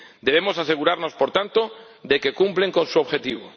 Debemos asegurarnos, por tanto, de que cumplen con su objetivo.